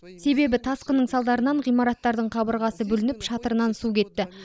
себебі тасқынның салдарынан ғимараттардың қабырғасы бүлініп шатырынан су кетті